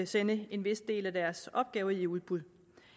sende en vis del af deres opgaver i udbud